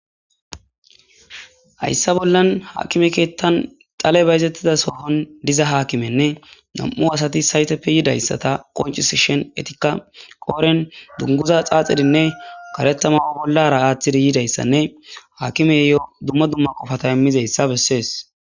Hayssa bollan haakime keettan xale bayezettida soohon diza haakimenne nam7u asati sayteppe yidayssa ta qoncis shen etika qooren dunguza xaaxedinne karetha mawo bollara aaththiri yidayssanne haakimeyo7 dumma dumma qofata immizayssa bessees